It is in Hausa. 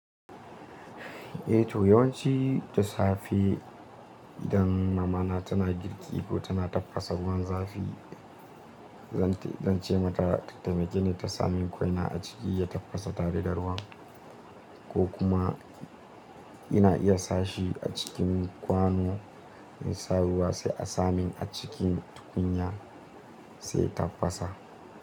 Eh to yawanci ta safe idan mamana tana girki ko tana tafasa ruwan zafi, zan ce mata ta taimake ni ta sami kwaina a ciki ya tafasa tare da ruwan, ko kuma ina iya sashi a cikin kwano mai sabuwa sai a samin a cikin tukunya sai tafasa.